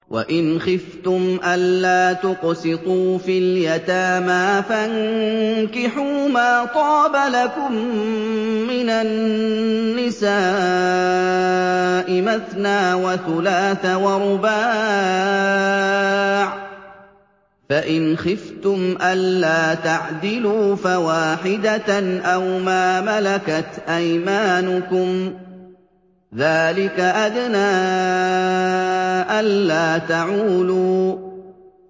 وَإِنْ خِفْتُمْ أَلَّا تُقْسِطُوا فِي الْيَتَامَىٰ فَانكِحُوا مَا طَابَ لَكُم مِّنَ النِّسَاءِ مَثْنَىٰ وَثُلَاثَ وَرُبَاعَ ۖ فَإِنْ خِفْتُمْ أَلَّا تَعْدِلُوا فَوَاحِدَةً أَوْ مَا مَلَكَتْ أَيْمَانُكُمْ ۚ ذَٰلِكَ أَدْنَىٰ أَلَّا تَعُولُوا